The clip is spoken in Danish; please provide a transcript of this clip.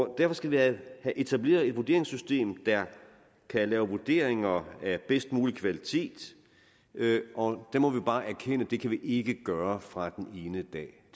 derfor skal vi have etableret et vurderingssystem der kan lave vurderinger af bedst mulig kvalitet og der må vi bare erkende at det kan vi ikke gøre fra den ene dag